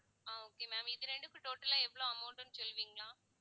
ஆஹ் okay ma'am இது ரெண்டுக்கும் total ஆ எவ்வளவு amount ன்னு சொல்லுவீங்களா